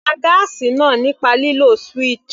Pá gáásì náà nípa lílo switch.